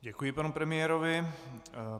Děkuji panu premiérovi.